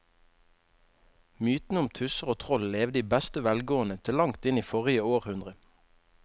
Mytene om tusser og troll levde i beste velgående til langt inn i forrige århundre.